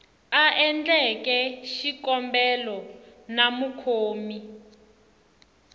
a endleke xikombelo na mukhomi